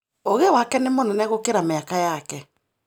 Ũgĩ wake nĩ mũnene gũkĩra mĩaka yake.